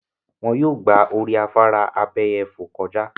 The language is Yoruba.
Wọ́n yóò gba orí afárá abéyẹfò kọjà.